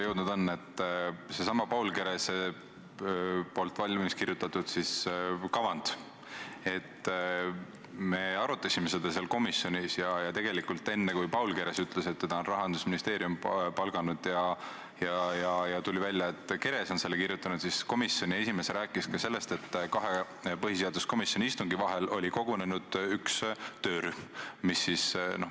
Seesama Paul Kerese valmis kirjutatud kavand – me arutasime seda komisjonis ja tegelikult enne, kui Paul Keres ütles, et teda on palganud Rahandusministeerium, ja tuli välja, et Keres on selle kavandi kirjutanud, rääkis komisjoni esimees ka sellest, et põhiseaduskomisjoni kahe istungi vahel oli kogunenud üks töörühm.